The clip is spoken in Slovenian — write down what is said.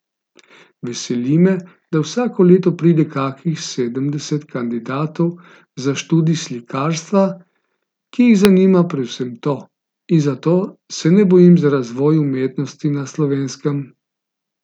Veseli me, da vsako leto pride kakih sedemdeset kandidatov za študij slikarstva, ki jih zanima predvsem to, in zato se ne bojim za razvoj umetnosti na Slovenskem.